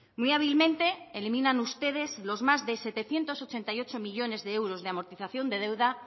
muy hábilmente eliminan ustedes los más de setecientos ochenta y ocho millónes de euros de amortización de deuda